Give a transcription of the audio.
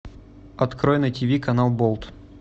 открой на тв канал болт